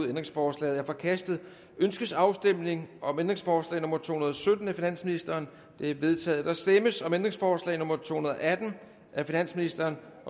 ændringsforslaget er forkastet ønskes afstemning om ændringsforslag nummer to hundrede og sytten af finansministeren det er vedtaget der stemmes om ændringsforslag nummer to hundrede og atten af finansministeren